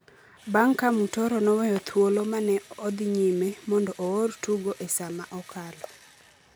bang’ ka Mutoro noweyo thuolo ma ne odhi nyime mondo oor tugo e saa ma okalo.